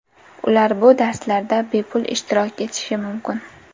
Ular bu darslarda bepul ishtirok etishi mumkin.